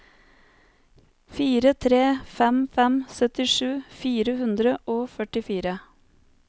fire tre fem fem syttisju fire hundre og førtifire